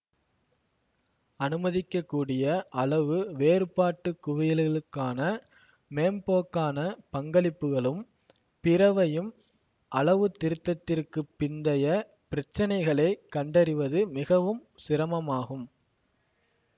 அனுமதிக்கக்கூடிய அளவு வேறுபாட்டு குவியல்களுக்கான மேம்போக்கான பங்களிப்புகளும் பிறவையும் அளவுத்திருத்தத்திற்குப் பிந்தைய பிரச்சினைகளை கண்டறிவது மிகவும் சிரமமாகும்